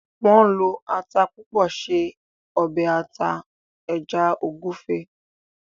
Wón ló atá púpọ ṣe obe ata eja egufe.